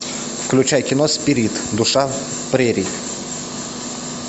включай кино спирит душа прерий